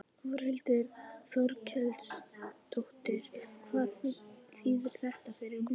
Þórhildur Þorkelsdóttir: Hvað þýðir þetta fyrir myndina?